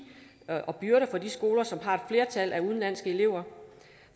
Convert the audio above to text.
og byrder for de skoler som har et flertal af udenlandske elever